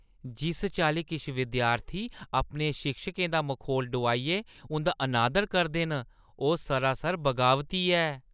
जिस चाल्ली किश विद्यार्थी अपने शिक्षकें दा मखौल डुआइयै उंʼदा अनादर करदे न, ओह् सरासर बगावती ऐ।